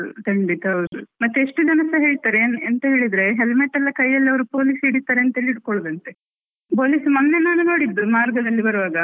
ಖಂಡಿತ ಹೌದು, ಮತ್ತೆ ಎಷ್ಟು ದಿವಸ ಹೇಳ್ತಾರೆ ಎಂತ ಹೇಳಿದ್ರೆ helmet ಎಲ್ಲ ಕೈಯಲ್ಲಿ ಅವ್ರು police ಹಿಡಿತಾರೆ ಅಂತ ಹಿಡ್ಕೊಳುದು ಅಂತೆ, police ಮೊನ್ನೆ ನಾನ್ ನೋಡಿದ್ದು ಮಾರ್ಗದಲ್ಲಿ ಬರುವಾಗ.